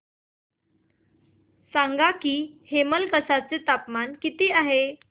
सांगा की हेमलकसा चे तापमान काय आहे